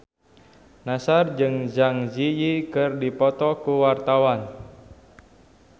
Nassar jeung Zang Zi Yi keur dipoto ku wartawan